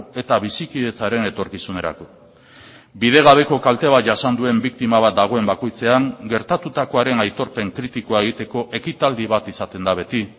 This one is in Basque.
eta bizikidetzaren etorkizunerako bidegabeko kalte bat jasan duen biktima bat dagoen bakoitzean gertatutakoaren aitorpen kritikoa egiteko ekitaldi bat izaten da beti